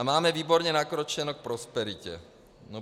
A máme výborně nakročeno k prosperitě.